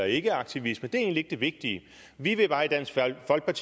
ikke er aktivisme er egentlig ikke det vigtige vi